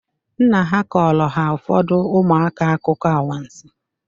Nna ha kọọrọ ha ụfọdụ ụmụaka akụkọ anwansi.